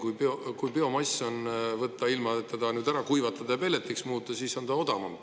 Kui võtta biomass, ilma et see ära kuivatada ja pelletiks muuta, siis on see odavam.